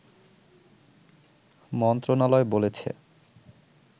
মন্ত্রণালয় বলেছে